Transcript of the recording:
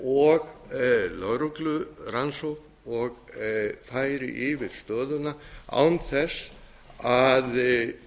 og lögreglurannsókn og færi yfir stöðuna án þess að